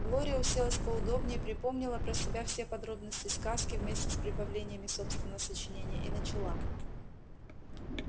глория уселась поудобнее припомнила про себя все подробности сказки вместе с прибавлениями собственного сочинения и начала